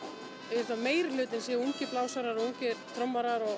ég held að meirihlutinn séu ungir blásarar ungir trommarar og